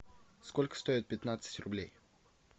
сколько стоит пятнадцать рублей